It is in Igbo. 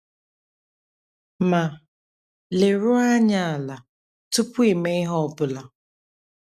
Ma, leruo anya ala tupu ị mee ihe ọ bụla.